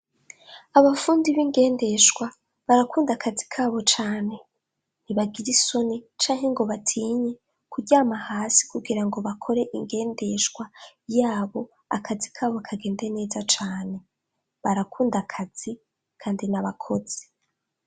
Abafundi bingendeshwa barakunda akazi ntibagira isoni canke ngo batinye kuryama hasi ngo bakoresha ingendeshwa yabo akazi kabo kagende neze cane barakunda akazi kandi nabakozi.